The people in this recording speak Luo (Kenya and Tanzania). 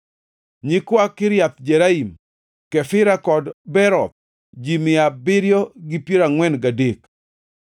nyikwa Kiriath Jearim, Kefira kod Beeroth, ji mia abiriyo gi piero angʼwen gadek (743)